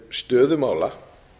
stöðu mála